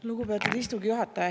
Lugupeetud istungi juhataja!